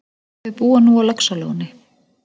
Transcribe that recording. Þau búa nú á Laxalóni.